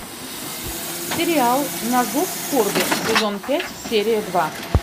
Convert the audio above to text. сериал на зов скорби сезон пять серия два